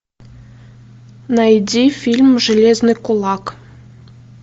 найди фильм железный кулак